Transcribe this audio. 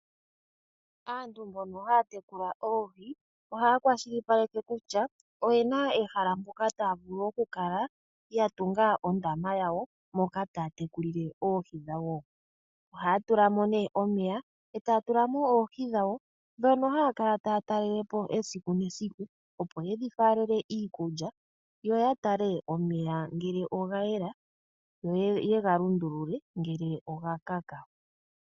Aantu mboka haya tekula oohi ohaya kwashilipaleke kutya oye na ehala mpoka taya vulu okutunga ondama yawo moka taya tekulile oohi dhawo. Ohaya tula mo nee omeya noohi dhawo ndhoka haya kala taya talele po esiku nesiku opo ye dhi faalele iikulya, yo ya tale ngele omeya oga yela opo ye ga lundulule ngele oga kaka.